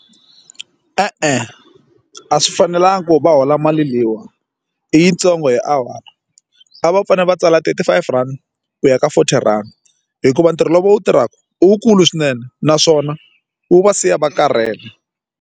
E-e a swi fanelangi ku va va hola mali leyiwani i yitsongo hi awara a va fanele va tsala twenty five rand ku ya ka forty rand hikuva ntirho lowu va wu tirhaka u wu kulu swinene naswona wu va siya va karhele.